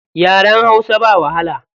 Yaren hausa ba wahala.